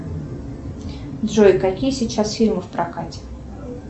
джой какие сейчас фильмы в прокате